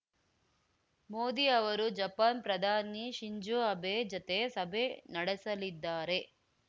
ಮೋದಿ ಅವರು ಜಪಾನ್‌ ಪ್ರಧಾನಿ Shinzo Abe ಜತೆ ಸಭೆ ನಡೆಸಲಿದ್ದಾರೆ